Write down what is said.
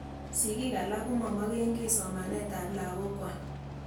Sigik alak ko ma maken ki somanet ap lagok kwak.